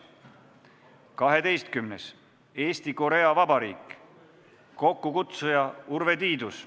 Kaheteistkümnendaks, Eesti – Korea Vabariik, kokkukutsuja on Urve Tiidus.